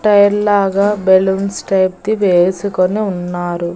Tyre లాగా balloons tape ది వేసుకొని ఉన్నారు.